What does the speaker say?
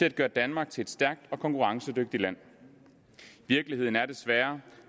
at gøre danmark til et stærkt og konkurrencedygtigt land virkeligheden er desværre